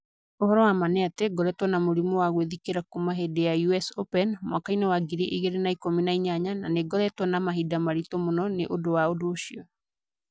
ũhoro wa ma nĩ atĩ ngoretwo na mũrimũ wa gwĩthikĩra kuuma hĩndĩ ya US Open mwaka-inĩ wa ngiri igĩrĩ na ĩkũmi na inyanya na nĩ ngoretwo na mahinda maitũ mũno nĩ ũndũ wa ũndũ ũcio.